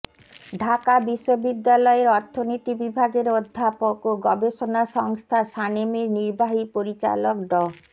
ঢাকা বিশ্ববিদ্যালয়ের অর্থনীতি বিভাগের অধ্যাপক ও গবেষণা সংস্থা সানেমের নির্বাহী পরিচালক ড